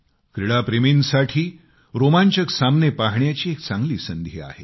क्रीडा प्रेमींसाठी रोमांचक सामने पाहण्याची एक चांगली संधी आहे